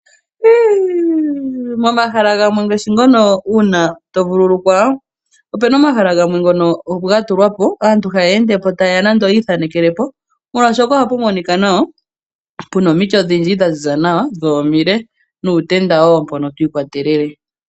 Momahala gamwe ngaashi ngono uuna to vululukwa, opena omahala gamwe ngono opo ga tulwa po aantu haya ende po taye ya nando yi ithanekele po molwashoka ohapu monika nawa puna omiti odhindji dha ziza nawa dho imile nuutenda wo mpono to ikwa telele.